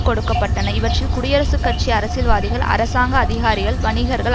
கொடுக்க பட்டன இவற்றில் குடியரசுக் கட்சி அரசியல் வாதிகள் அரசாங்க அதிகாரிகள் வணிகர்கள்